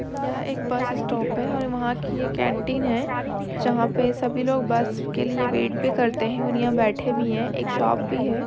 यह एक bus stop है और वहाँ की ये एक केंटीन है जहा पे सभी लोग बस के लिए वेट भी करते हैं और यहाँ पे बेठे भी हैं एक शॉप भी है।